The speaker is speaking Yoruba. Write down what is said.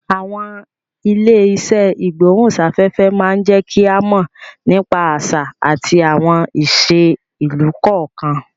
Àwọn ilé iṣẹ́ ìgbóhùn sáfẹ́fẹ́ má jẹ́ ń ká mọ̀ nípa àṣà àti àwọn ìṣe ìlú kọ̀ọ̀kan